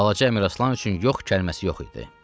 Balaca Əmiraslan üçün yox kəlməsi yox idi.